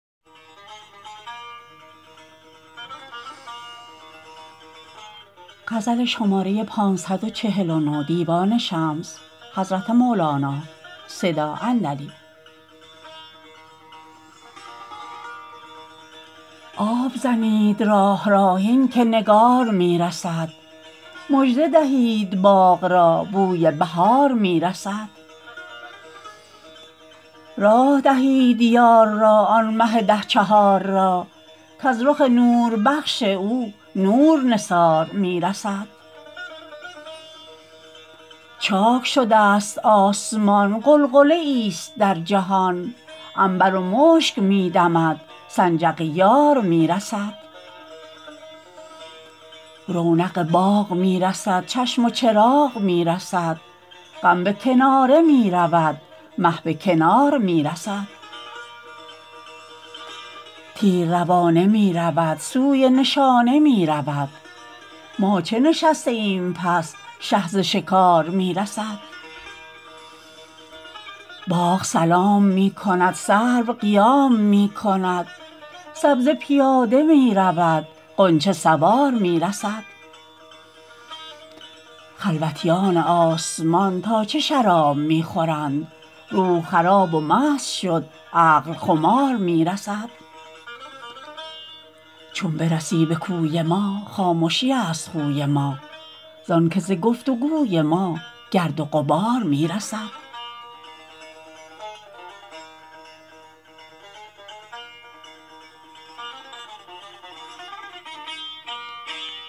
آب زنید راه را هین که نگار می رسد مژده دهید باغ را بوی بهار می رسد راه دهید یار را آن مه ده چهار را کز رخ نوربخش او نور نثار می رسد چاک شدست آسمان غلغله ای است در جهان عنبر و مشک می دمد سنجق یار می رسد رونق باغ می رسد چشم و چراغ می رسد غم به کناره می رود مه به کنار می رسد تیر روانه می رود سوی نشانه می رود ما چه نشسته ایم پس شه ز شکار می رسد باغ سلام می کند سرو قیام می کند سبزه پیاده می رود غنچه سوار می رسد خلوتیان آسمان تا چه شراب می خورند روح خراب و مست شد عقل خمار می رسد چون برسی به کوی ما خامشی است خوی ما زان که ز گفت و گوی ما گرد و غبار می رسد